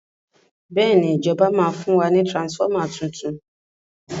béèni ìjọba ma fún wa ní transformer títún